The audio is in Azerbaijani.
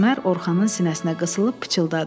Əsmər Orxanın sinəsinə qısılıb pıçıldadı.